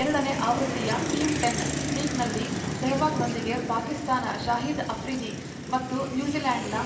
ಎರಡ ನೇ ಆವೃತ್ತಿಯ ಟೀಂ ಟೆನ್ ಲೀಗ್‌ನಲ್ಲಿ ಸೆಹ್ವಾಗ್‌ರೊಂದಿಗೆ ಪಾಕಿಸ್ತಾನ ಶಾಹಿದ್‌ ಅಫ್ರಿದಿ ಮತ್ತು ನ್ಯೂಜಿಲೆಂಡ್‌ನ